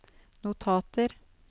notater